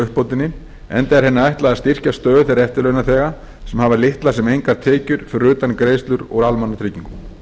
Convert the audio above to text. á uppbótinni enda er henni ætlað að styrkja stöðu þeirra eftirlaunaþega sem hafa litlar sem engar tekjur fyrir utan greiðslur úr almannatryggingum